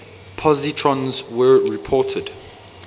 positrons were reported